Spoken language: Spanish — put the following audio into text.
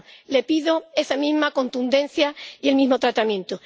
Le pido esa misma contundencia y el mismo tratamiento.